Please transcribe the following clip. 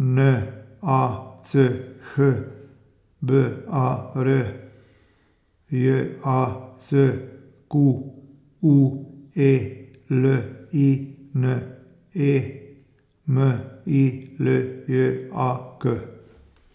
N A C H B A R; J A C Q U E L I N E, M I L J A K.